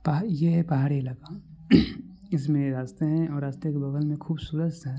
ये है पहाड़ी इलाका इसमे रास्ते है रास्ता के बगल मे खूबसूरत सा--